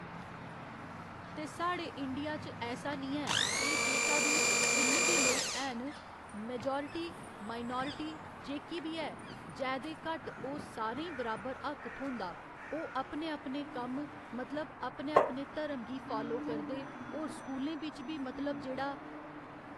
ते साढ़े इंडिया च ऐसा निं ऐ एह् जेह्का बी जिन्ने बी लोक है'न मेजोरिटी माइनारिटी जेह्की बी ऐ जादै घट्ट ओह् सारें ई बराबर हक थ्होंदा ओह् अपने अपने कम्म मतलब अपने अपने धर्म गी फालो करदे होर स्कूलें बिच्च बी मतलब जेह्ड़ा